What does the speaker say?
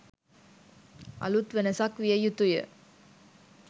අලූත් වෙනසක් විය යුතුය